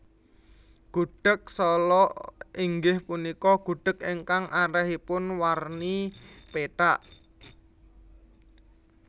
Gudheg Sala inggih punika gudheg ingkang arèhipun warni pethak